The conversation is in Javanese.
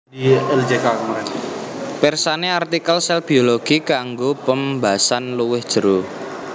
Pirsani artikel sèl biologi kanggo pembasan luwih jero